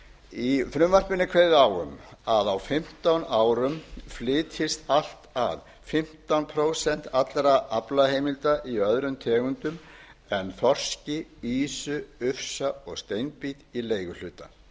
í frumvarpinu er ákveðið á um að á fimmtán árum flytjist allt að fimmtán prósent allra aflaheimilda í öðrum tegundum en þorski ýsu ufsa og steinbít í leiguhluta